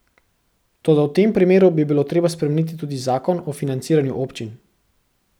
Toda v tem primeru bi bilo treba spremeniti tudi zakon o financiranju občin.